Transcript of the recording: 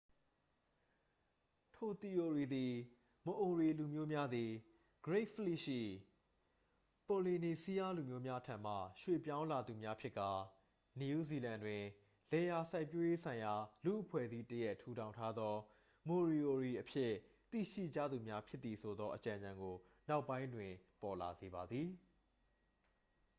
ထိုသီအိုရီသည် မအိုရီ လူမျိုးများသည် great fleet ရှိ ပိုလီနီစီးရား လူမျိုးများထံမှ ရွှေ့ပြောင်းလာသူများဖြစ်ကာ နယူးဇီလန်တွင် လယ်ယာစိုက်ပျိုးရေးဆိုင်ရာလူ့အဖွဲ့အစည်းတစ်ရပ် ထူထောင်ထားသော moriori အဖြစ်သိရှိကြသူများဖြစ်သည်ဆိုသော အကြံဉာဏ်ကို နောက်ပိုင်းတွင်ပေါ်လာစေပါသည်